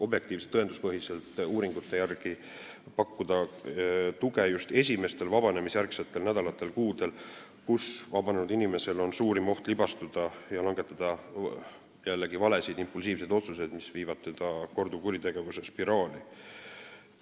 Objektiivsete ja tõenduspõhiste uuringute järgi on väga oluline pakkuda tuge just esimestel vabanemisjärgsetel nädalatel ja kuudel, kui vabanenud inimesel on suurim oht libastuda ja langetada jällegi valesid impulsiivseid otsuseid, mis võivad teda viia korduvkuritegevuse spiraali.